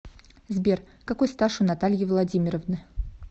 сбер какой стаж у натальи владимировны